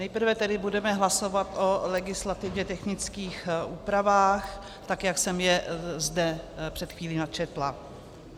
Nejprve tedy budeme hlasovat o legislativně technických úpravách, tak jak jsem je zde před chvílí načetla.